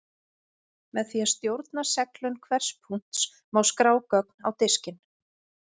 Með því að stjórna seglun hvers punkts má skrá gögn á diskinn.